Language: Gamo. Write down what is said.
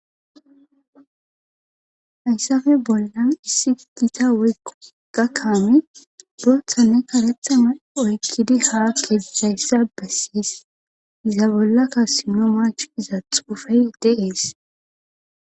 hayssafe bollan issi gita woykko gakkami bootha ne karethama oykkidi haa keizayssa bessiis iza bollakka simno mach iza xufey de'ees